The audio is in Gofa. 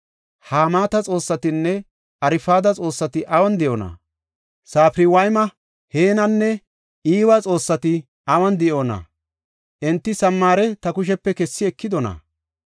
Hamaata xoossatinne Arfada xoossati awun de7oona? Safarwayma, Heenanne Iwa xoossati awun de7oona? Enti Samaare ta kushepe kessi ekidona?